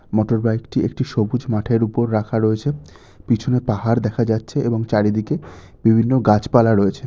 Motorbike -টি একটি সবুজ মাঠের উপর রাখা রয়েছে। পিছনে পাহাড় দেখা যাচ্ছে এবং চারিদিকে বিভিন্ন গাছপালা রয়েছে।